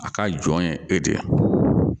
A ka jɔn ye e de ye